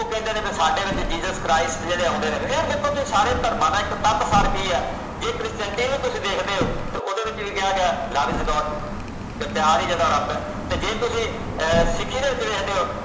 ਉਹ ਕਹਿੰਦੇ ਨੇ ਬਈ ਸਾਡੇ ਵਿਚ jesus christ ਜਿਹੜੇ ਆਉਂਦੇ ਨੇ ਇਹ ਵੇਖੋ ਤੁਸੀ ਸਾਡੇ ਧਰਮਾਂ ਦਾ ਇਕ ਸਾਰ ਕੀ ਆ ਜੇ christianity ਨੂੰ ਤੁਸੀ ਦੇਖਦੇ ਹੋ ਤੇ ਉਹਦੇ ਵਿਚ ਕਿਹਾ ਗਿਆ love is god ਪਿਆਰ ਹੀ ਜਿਹੜਾ ਰੱਬ ਆ ਜੇ ਤੁਸੀਂ ਆਹ ਸਿੱਖੀ ਦੇ ਵਿਚ ਦੇਖਦੇ ਹੋ